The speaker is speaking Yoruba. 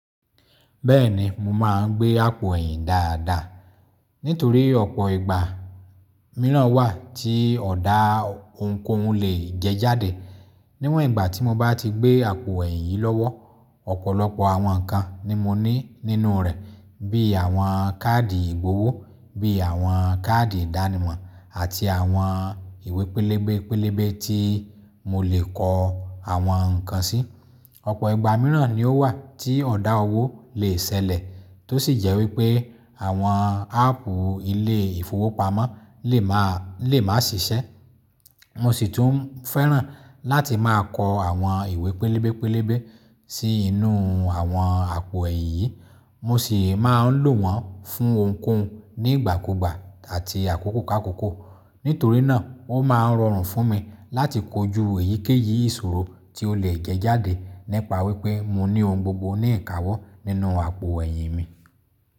Bẹ́ẹ̀ni, mo máa ń gbé àpò ẹ̀yìn dáadáa nítorí ọ̀pọ̀ ìgbà mìíràn wà tí ọ̀dà ohunkóhun lè jẹjáde. Níwọ̀n ìgbà tí mo bá ti gbé àpò ẹ̀yìn yìí lọ́wọ́, ọ̀pọ̀lọpọ̀ àwọn nǹkan ni mo ní nínú rẹ̀ bíi àwọn káàdì ìgbowó, bí i àwọn káàdì ìdánimọ̀ àti àwọn ìwé pẹlẹbẹpẹlẹbẹ tí mo lè kọ àwọn nǹkan sí. Ọ̀pọ̀ ìgbà mìíràn ni ó wà tí ọ̀dà owó lè ṣẹlẹ̀ tó sì jẹ́ wí pé àwọn áàpù ilé ìfowópamọ́ lè máa sì ṣiṣẹ́. Mo sì tún fẹ́ràn láti máa kọ àwọn ìwé pẹlẹbẹ pẹlẹbẹ sí inú àwọn àpò ẹ̀yìn yìí. Mo sì máa ń lò wọ́n fún ohunkóhun ní ìgbàkúgbà àti àkókò káàkókò. Nítorí náà o máa ń rọrùn fún mi láti kojú èyíkéyìí ìṣòro tí ó lè jẹ jáde nipa wípé mo ní ohun gbogbo ní ikawọ́ nínú àpò ẹ̀yìn mi.